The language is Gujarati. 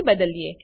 થી બદલીએ